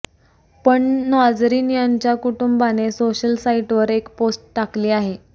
पण नाजरीन यांच्या कुटुंबाने सोशल साईटवर एक पोस्ट टाकली आहे